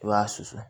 I b'a susu